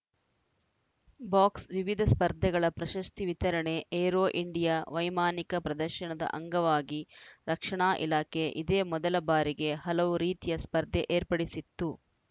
ಬಾಕ್ಸ್‌ವಿವಿಧ ಸ್ಪರ್ಧೆಗಳ ಪ್ರಶಸ್ತಿ ವಿತರಣೆ ಏರೋ ಇಂಡಿಯಾ ವೈಮಾನಿಕ ಪ್ರದರ್ಶನದ ಅಂಗವಾಗಿ ರಕ್ಷಣಾ ಇಲಾಖೆ ಇದೇ ಮೊದಲ ಬಾರಿಗೆ ಹಲವು ರೀತಿಯ ಸ್ಪರ್ಧೆ ಏರ್ಪಡಿಸಿತ್ತು